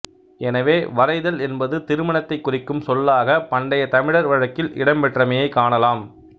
எனவே வரைதல் என்பது திருமணத்தைக் குறிக்கும் சொல்லாக பண்டைத் தமிழர் வழக்கில் இடம் பெற்றமையைக் காணலாம்